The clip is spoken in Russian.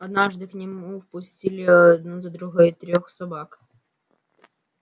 однажды к нему впустили одну за другой трёх собак